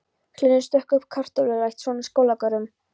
Hlynur stakk uppá kartöflurækt, svona Skólagörðum.